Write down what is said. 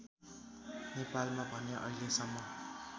नेपालमा भने अहिलेसम्म